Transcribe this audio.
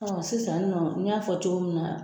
sisan nin nɔ n y'a fɔ cogo min na.